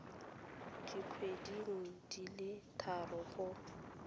dikgweding di le tharo go